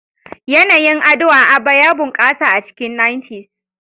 Yanayin ado a Aba ya bunƙasa a cikin 90s.